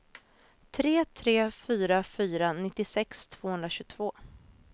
tre tre fyra fyra nittiosex tvåhundratjugotvå